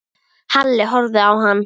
Halli horfði á hann.